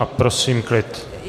A prosím klid.